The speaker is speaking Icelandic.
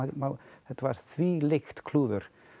þetta var þvílíkt klúður